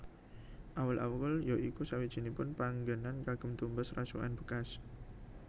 Awul awul ya iku sawijinipun panggenan kagem tumbas rasukan bekas